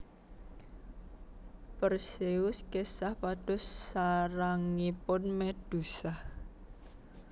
Perseus kesah pados sarangipun Medusa